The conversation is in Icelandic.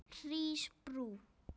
Hrísbrú